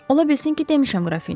Ola bilsin ki, demişəm qrafinya.